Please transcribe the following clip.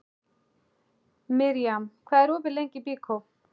Mirjam, hvað er opið lengi í Byko?